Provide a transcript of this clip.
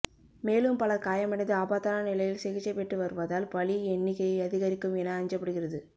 மேலும் பலர் காயமடைந்து ஆபத்தான நிலையில் சிகிச்சை பெற்று வருவதால் பலி எண்ணிக்கை அதிகரிக்கும் என அஞ்சப்படுகிறது